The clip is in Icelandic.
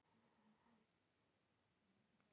Óðum styttist í stóra leikinn gegn Frökkum á laugardaginn.